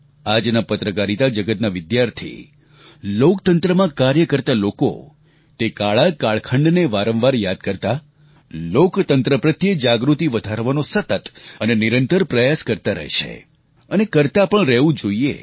આજના પત્રકારિતા જગતના વિદ્યાર્થી લોકતંત્રમાં કાર્ય કરતા લોકો તે કાળા કાળખંડને વારંવાર યાદ કરતા લોકતંત્ર પ્રત્યે જાગૃતિ વધારવાનો સતત અને નિરંતર પ્રયાસ કરતા રહે છે અને કરતા પણ રહેવું જોઈએ